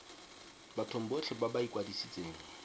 bathong botlhe ba ba ikwadisitseng